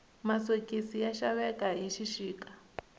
masokisi ya xaveka hi xixika